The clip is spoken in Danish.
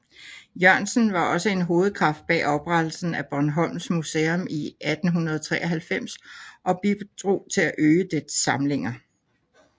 Jørgensen var også en hovedkraft bag oprettelsen af Bornholms Museum i 1893 og bidrog til at øge dets samlinger